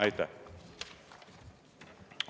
Aitäh!